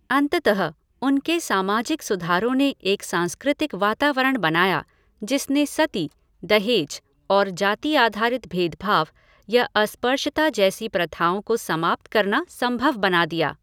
अंततः उनके सामाजिक सुधारों ने एक सांस्कृतिक वातावरण बनाया जिसने सती, दहेज और जाति आधारित भेदभाव या अस्पृश्यता जैसी प्रथाओं को समाप्त करना संभव बना दिया।